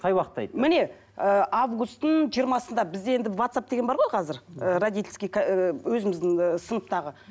қай уақытта міне ііі августтің жиырмасында бізде енді ватсап деген бар ғой қазір і родительский і өзіміздің і сыныптағы